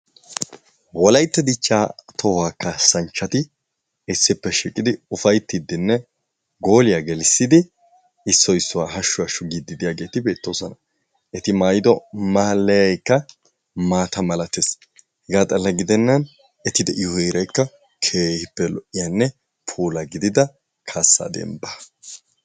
Wolaytta dichchaa tohuwaa kaassanchati issippe shiiqidi ufayttiidinne gooliya gelisidi issoy issuwaa hashu hashu giiddi diyaageeti beettoosona. Eti maayido maalayaykka maata malatees. Hegaa xalla gidennan eti de"iyo heeraykka keehippe lo"iyanne puula gidida kaassaa dembbaa.